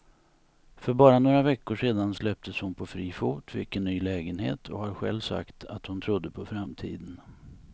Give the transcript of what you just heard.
För bara några veckor sedan släpptes hon på fri fot, fick en ny lägenhet och har själv sagt att hon trodde på framtiden.